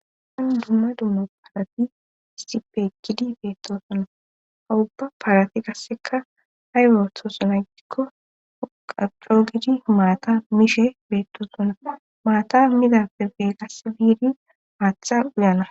han dumma dumma paalati istipekidi beettosonna hawubba paalati qasseka hay ootosona gidikko qaxo gidi maata mishe beettosonna maata midappebe qasse biidi maatha uyana